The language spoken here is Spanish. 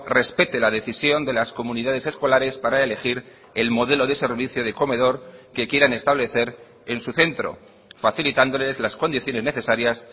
respete la decisión de las comunidades escolares para elegir el modelo de servicio de comedor que quieran establecer en su centro facilitándoles las condiciones necesarias